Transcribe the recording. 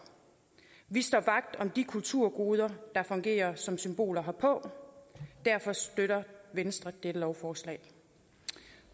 vi står vagt om de kulturgoder der fungerer som symboler herpå derfor støtter venstre dette lovforslag